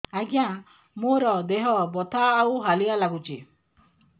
ଆଜ୍ଞା ମୋର ଦେହ ବଥା ଆଉ ହାଲିଆ ଲାଗୁଚି